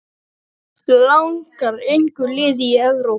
Langar engu liði í Evrópu?